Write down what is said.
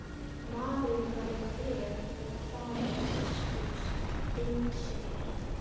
Maðurinn var með bréf og þar á biskups innsigli.